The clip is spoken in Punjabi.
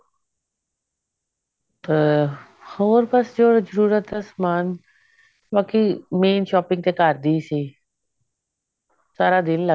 ਅਹ ਹੋਰ ਬਸ ਜੋ ਜਰੂਰਤ ਦਾ ਸਮਾਨ ਬਾਕੀ main shopping ਤਾਂ ਘਰ ਦਿਓ ਹੀ ਸੀ ਸਾਰਾ ਦਿਨ ਲੱਗ